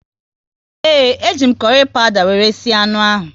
Ee, e ji m kurry pawuda wéré sie anụ ahụ